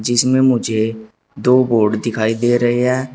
जिसमे मुझे दो बोर्ड दिखाई दे रहे हैं।